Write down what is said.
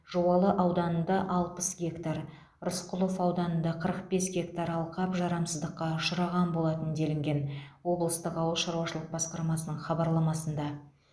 жуалы ауданында алпыс гектар рысқұлов ауданында қырық бес гектар алқап жарамсыздыққа ұшыраған болатын делінген облыстық ауыл шаруашылық басқармасының хабарламасында